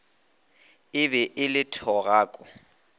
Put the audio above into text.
e be e le thogako